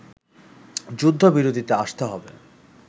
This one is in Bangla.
যুদ্ধবিরতিতে আসতে হবে